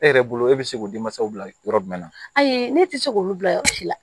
E yɛrɛ bolo e bɛ se k'o denmansaw bila yɔrɔ jumɛn na ayi ne tɛ se k'olu bila yɔrɔ si la